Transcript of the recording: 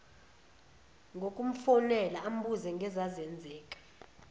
ngokumfonela ambuze ngezazenzeka